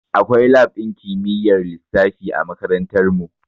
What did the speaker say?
Akwai lab ɗin kimiyyar lissafi a makarantar mu